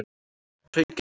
Hraungerði